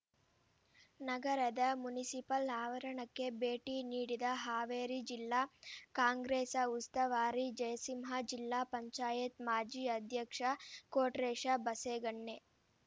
ನಗರದ ಮುನಸಿಪಲ್ ಆವರಣಕ್ಕೆ ಭೇಟಿ ನೀಡಿದ ಹಾವೇರಿ ಜಿಲ್ಲಾ ಕಾಂಗ್ರೆಸ ಉಸ್ತುವಾರಿ ಜಯಸಿಂಹ ಜಿಲ್ಲಾ ಪಂಚಾಯತ್ ಮಾಜಿ ಅಧ್ಯಕ್ಷ ಕೋಟ್ರೇಶ ಬಸೇಗಣ್ಣೆ